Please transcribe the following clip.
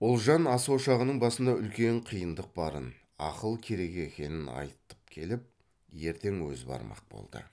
ұлжан ас ошағының басында үлкен қиындық барын ақыл керек екенін айтып келіп ертең өзі бармақ болды